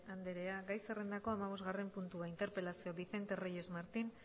andrea gai zerrendako hamabosgarren puntua interpelazioa vicente reyes martín